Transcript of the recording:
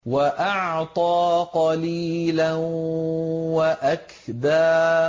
وَأَعْطَىٰ قَلِيلًا وَأَكْدَىٰ